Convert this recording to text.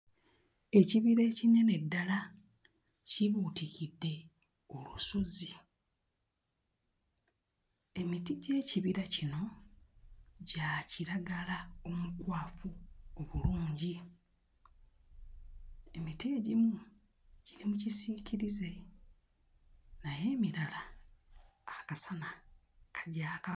Ekibira ekinene ddala kibuutikidde olusozi emiti gy'ekibira kino gya kiragala omukwafu obulungi emiti egimu giri mu kisiikirize naye emirala akasana kagyaka.